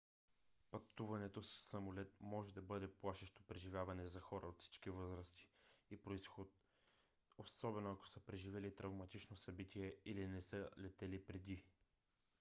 пътуването със самолет може да бъде плашещо преживяване за хора от всички възрасти и произход особено ако са преживели травматично събитие или не са летели преди